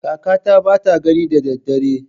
Kakata bata gani da daddare.